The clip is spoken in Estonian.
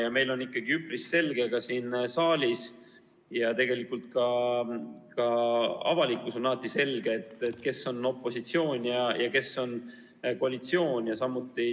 Ja meil on ikkagi üpris selge siin saalis ja ka avalikkuses, mis on opositsioon ja mis on koalitsioon.